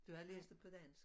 Du havde læst det på dansk?